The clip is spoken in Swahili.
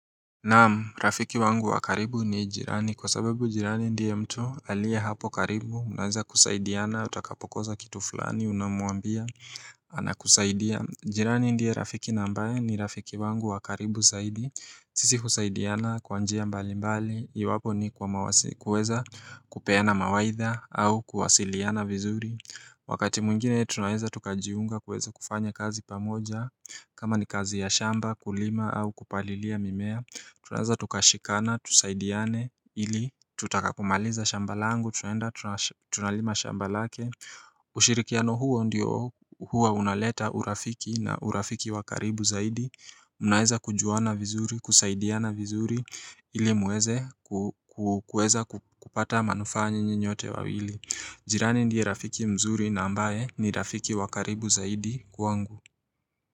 Naam, rafiki wangu wa karibu ni jirani, kwa sababu jirani ndiye mtu aliye hapo karibu, mnaweza kusaidiana, utakapokosa kitu fulani, unamwambia, anakusaidia jirani ndiye rafiki na ambaye ni rafiki wangu wa karibu zaidi, sisi husaidiana kwa njia mbali mbali, iwapo ni kuweza kupeana mawaidha au kuwasiliana vizuri Wakati mwingine tunaweza tukajiunga kuweza kufanya kazi pamoja kama ni kazi ya shamba kulima au kupalilia mimea Tunaweza tukashikana, tusaidiane ili tutakapomaliza shamba langu, tunaenda, tunalima shamba lake ushirikiano huo ndio huwa unaleta urafiki na urafiki wa karibu zaidi mnaweza kujuana vizuri, kusaidiana vizuri ili muweza kupata manufaa nyinyi nyote wawili jirani ndiye rafiki mzuri na ambaye ni rafiki wakaribu zaidi kwangu.